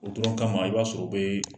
O dɔrɔn kama i b'a sɔrɔ o bee